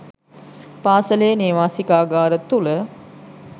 පාසලේ නේවාසිකාගාර තුළ.